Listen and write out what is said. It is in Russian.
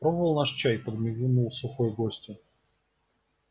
пробовал наш чай подмигнул сухой гостю